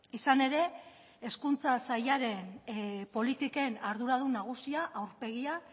izan ere hezkuntza sailaren politiken arduradun nagusia aurpegia